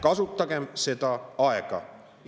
Kasutagem seda aega!